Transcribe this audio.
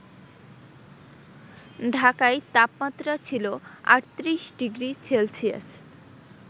ঢাকায় তাপমাত্রা ছিল ৩৮ ডিগ্রি সেলসিয়াস